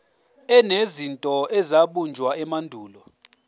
enezinto ezabunjwa emandulo